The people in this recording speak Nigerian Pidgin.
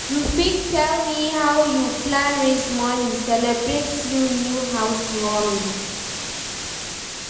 you fit tell me how you plan raise money celebrate you new house warming?